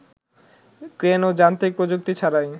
crane ও যান্ত্রিক প্রযুক্তি ছাড়াই